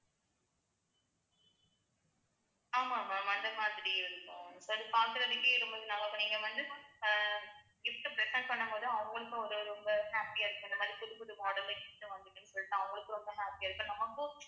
ஆமா ma'am அந்த மாதிரி இருக்கும் அது பார்க்கிறதுக்கே ரொம்ப நல்லாருக்கும் நீங்க வந்து அஹ் gift உ present பண்ணும் போது அவங்களுக்கும் ஒரு ரொம்ப happy ஆ இருக்கு இந்த மாதிரி புதுப்புது model ல gift உ வாங்கிருக்கீங்கனு சொல்லிட்டு அவங்களுக்கும் ரொம்ப happy அ இப்ப நமக்கும்